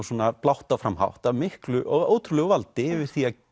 svona blátt áfram hátt af miklu ótrúlegu valdi yfir því